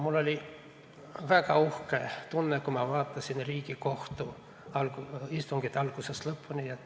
Mul oli väga uhke tunne, kui ma vaatasin Riigikohtu istungit algusest lõpuni.